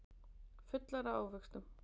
Fullar af ávöxtum.